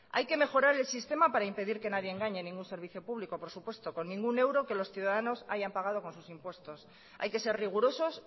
hay que mejorar el sistema para impedir que nadie engañe a ningún servicio público por supuesto con ningún euro que los ciudadanos hayan pagado con sus impuestos hay que ser rigurosos